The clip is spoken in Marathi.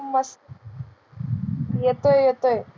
येतोय येतोय.